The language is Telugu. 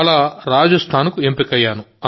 అలా రాజస్థాన్కు ఎంపికయ్యాను